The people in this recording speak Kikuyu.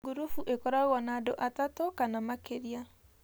Ngurubu ĩkoragwo na andũ atatũ kana makĩria